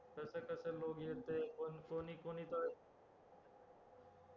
कसं कसं लोक येतंय कोणीकोणी तर